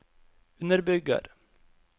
underbygger